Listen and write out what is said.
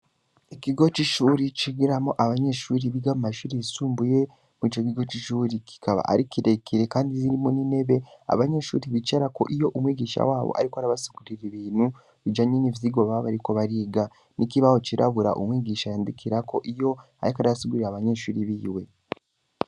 Ikigo c'ishure cigiramwo abanyeshure biga mu mashure yisumbuye. Ico kigo c'ishure kikaba ari kirekire kandi irimo n’intebe abanyeshure bicarako iyo ariko arabasigurira ibintu bijanye n'ivyigwa baba bariko bariga n'kibaho cirabura yandikirako iyo ariko arasigurira abanyeshure biwe.